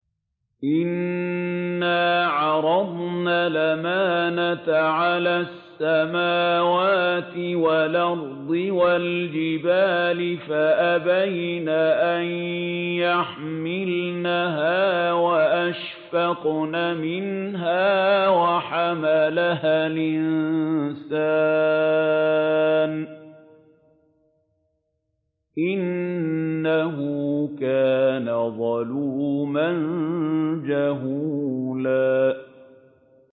إِنَّا عَرَضْنَا الْأَمَانَةَ عَلَى السَّمَاوَاتِ وَالْأَرْضِ وَالْجِبَالِ فَأَبَيْنَ أَن يَحْمِلْنَهَا وَأَشْفَقْنَ مِنْهَا وَحَمَلَهَا الْإِنسَانُ ۖ إِنَّهُ كَانَ ظَلُومًا جَهُولًا